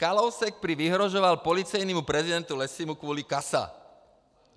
Kalousek prý vyhrožoval policejnímu prezidentu Lessymu kvůli CASA.